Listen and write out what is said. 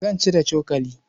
Zan ci da cokali.